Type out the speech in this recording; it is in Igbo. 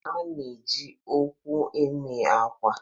A na-eji owu eme akwa